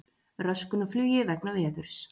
Röskun á flugi vegna veðurs